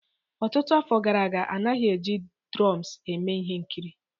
Ọtụtụ afọ gara aga, a naghị eji dromes eme ihe nkiri